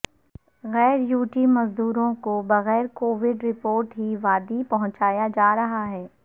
غیریوٹی مزدوروں کو بغیر کووٹ رپورٹ ہی وادی پہنچایا جارہا ہے